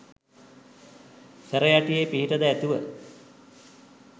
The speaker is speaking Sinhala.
සැරයටියේ පිහිටද ඇතිව